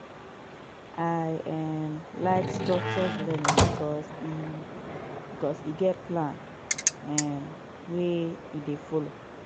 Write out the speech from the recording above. i um like structures learning because e because e get plan um wey e dey folo